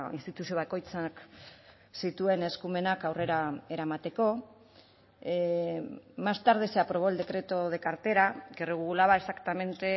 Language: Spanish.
instituzio bakoitzak zituen eskumenak aurrera eramateko más tarde se aprobó el decreto de cartera que regulaba exactamente